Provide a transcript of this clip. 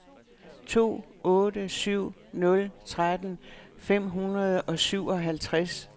to otte syv nul tretten fem hundrede og syvoghalvtreds